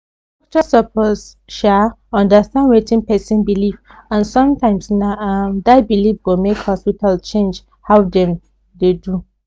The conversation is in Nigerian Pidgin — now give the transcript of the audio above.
doctor suppose um understand wetin person believe and sometimes na um that belief go make hospital change how dem um dey do